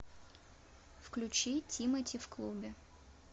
включи тимати в клубе